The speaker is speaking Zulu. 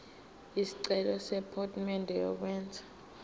isicelo sephomedi yokwenze